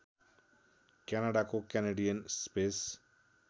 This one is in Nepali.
क्यानाडाको क्यानेडियन स्पेस